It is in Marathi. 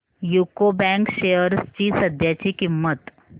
यूको बँक शेअर्स ची सध्याची किंमत